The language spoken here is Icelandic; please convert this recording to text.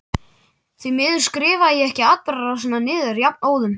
Því miður skrifaði ég ekki atburðarásina niður jafnóðum.